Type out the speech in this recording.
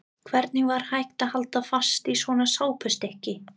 Hvernig var hægt að halda fast í svona sápustykki!